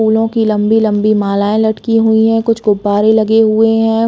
फूलो की लंबी- लंबी मालाएं लटकी हुई है कुछ गुब्बारे लगे हुए है।